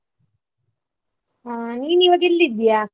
ಹಾ ನೀನ್ ಈವಾಗೆಲ್ಲಿದ್ದೀಯಾ?